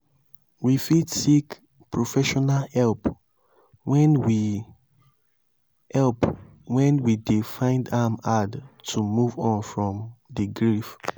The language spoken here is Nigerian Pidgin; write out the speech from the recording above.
we fit seek professional help when we help when we dey find am hard to move on from di grief